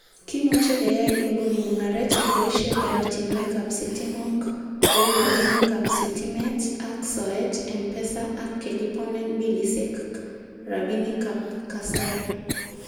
Kimuche keyai inguni mungaret keboishie oratinwek ab sitimok kou rabinik ab sitimet ak soet ,mpesa ak keliponen bilisiek rabinikab kasari.